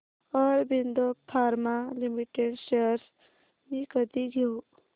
Aurobindo pharma limited shares मी कधी घेऊ